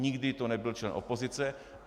Nikdy to nebyl člen opozice.